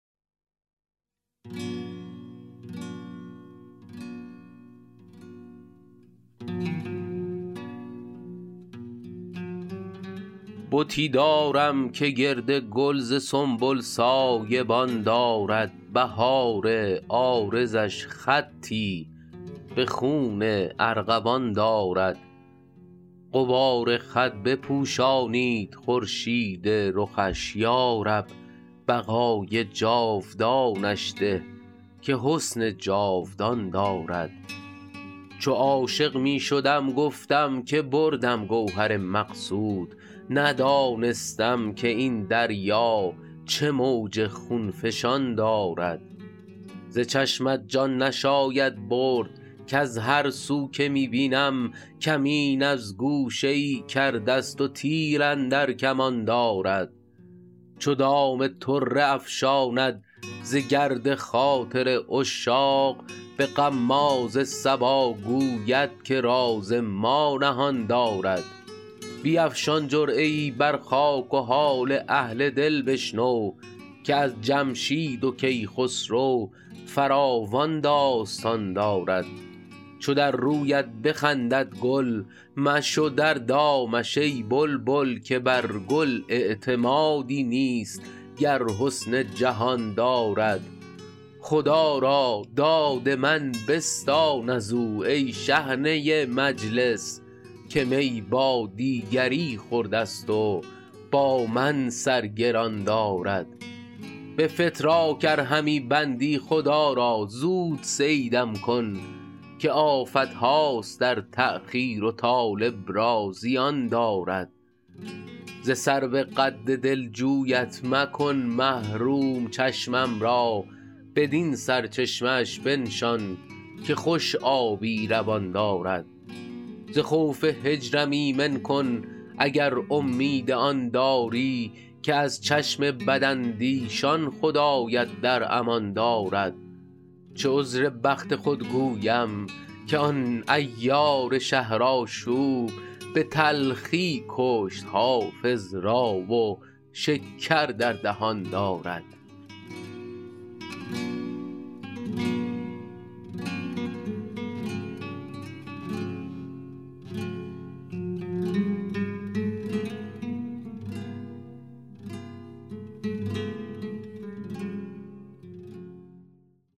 بتی دارم که گرد گل ز سنبل سایه بان دارد بهار عارضش خطی به خون ارغوان دارد غبار خط بپوشانید خورشید رخش یا رب بقای جاودانش ده که حسن جاودان دارد چو عاشق می شدم گفتم که بردم گوهر مقصود ندانستم که این دریا چه موج خون فشان دارد ز چشمت جان نشاید برد کز هر سو که می بینم کمین از گوشه ای کرده ست و تیر اندر کمان دارد چو دام طره افشاند ز گرد خاطر عشاق به غماز صبا گوید که راز ما نهان دارد بیفشان جرعه ای بر خاک و حال اهل دل بشنو که از جمشید و کیخسرو فراوان داستان دارد چو در رویت بخندد گل مشو در دامش ای بلبل که بر گل اعتمادی نیست گر حسن جهان دارد خدا را داد من بستان از او ای شحنه مجلس که می با دیگری خورده ست و با من سر گران دارد به فتراک ار همی بندی خدا را زود صیدم کن که آفت هاست در تأخیر و طالب را زیان دارد ز سرو قد دلجویت مکن محروم چشمم را بدین سرچشمه اش بنشان که خوش آبی روان دارد ز خوف هجرم ایمن کن اگر امید آن داری که از چشم بداندیشان خدایت در امان دارد چه عذر بخت خود گویم که آن عیار شهرآشوب به تلخی کشت حافظ را و شکر در دهان دارد